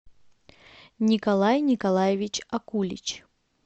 николай николаевич акулич